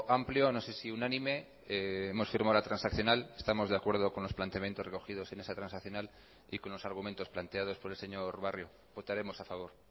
amplio no se si unánime hemos firmado la transaccional estamos de acuerdo con los planteamientos recogidos en esa transaccional y con los argumentos planteados por el señor barrio votaremos a favor